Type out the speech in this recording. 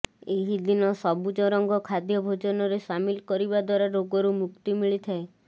ଏହିଦିନ ସବୁଜ ରଙ୍ଗ ଖାଦ୍ୟ ଭୋଜନରେ ସାମିଲ କରିବା ଦ୍ୱାରା ରୋଗରୁ ମୁକ୍ତି ମିଳିଥାଏ